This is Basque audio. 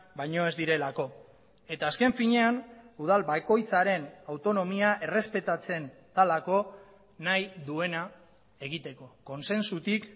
baino ez direlako eta azken finean udal bakoitzaren autonomia errespetatzen delako nahi duena egiteko kontsensutik